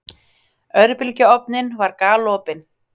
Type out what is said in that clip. Örbylgjuofninn var galopinn.